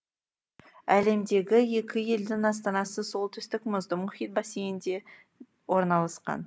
әлемдегі екі елдің астанасы солтүстік мұзды мұхит бассейнінде орналасқан